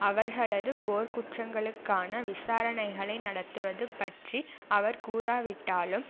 அவர்களது போர்க்குற்றங்களுக்கான விசாரணைகளை நடத்துவது பற்றி அவர் கூறாவிட்டாலும்